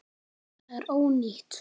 Það er ónýtt.